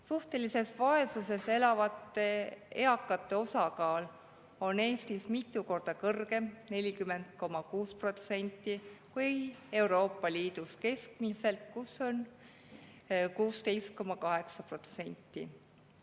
Suhtelises vaesuses elavate eakate osakaal – 40,6% – on Eestis mitu korda kõrgem kui Euroopa Liidus keskmiselt, kus neid on 16,8%.